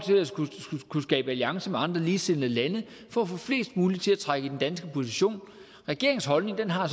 kunne skabe alliancer med andre ligesindede lande for at få flest mulige til at trække mod den danske position regeringens holdning har